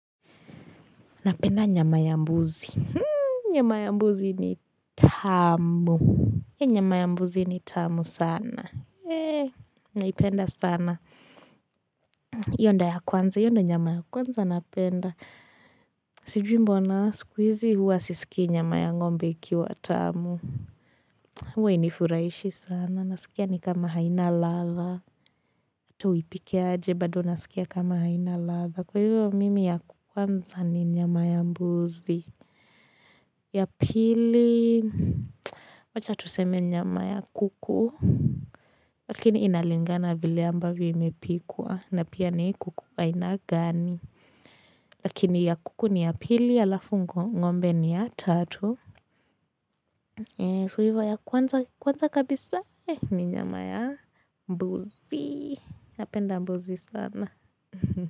Napenda nyama ya mbuzi. Nyama ya mbuzi ni tamu. Nyama ya mbuzi ni tamu sana. Naipenda sana hio ndio ya kwanza. Hio ndio nyama ya kwanza napenda. Sijui mbona sikuizi huwa sisikii nyama ya ngombe ikiwa tamu. Huwa hainifurahishi sana. Nasikia ni kama haina latha. Hata uipike aje bado nasikia kama haina ladha. Kwa hivyo mimi ya kwanza ni nyama ya mbuzi. Ya pili wacha tuseme nyama ya kuku lakini inalingana vile ambavyo imepikwa na pia ni kuku aina gani Lakini ya kuku ni ya pili alafu ngombe ni ya tatu So hivo ya kwanza kabisa ni nyama ya mbuzi napenda mbuzi sana.